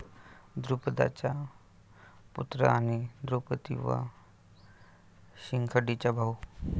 द्रुपदाचा पुत्र आणि द्रौपदी व शिखंडीचा भाऊ.